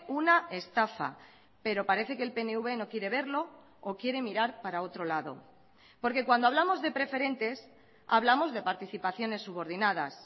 una estafa pero parece que el pnv no quiere verlo o quiere mirar para otro lado porque cuando hablamos de preferentes hablamos de participaciones subordinadas